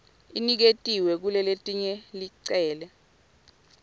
iniketiwe kulelelinye licele